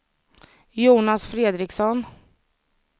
Jonas Fredriksson